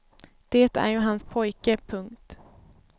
Det är ju hans pojke. punkt